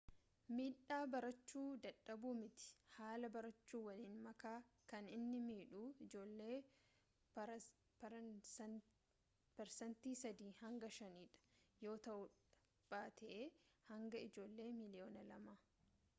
miidhaa barachu dadhabuu miti haala barachu waliin makaa kan inni midhuu ijoollee parsantii 3 hanga 5 dha yoo ta'uudha baate baayee hanga ijoollee miliyoona 2